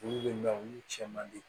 Olu de bɛ olu cɛ man di